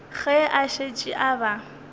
ge a šetše a ba